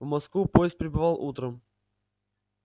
в москву поезд прибывал утром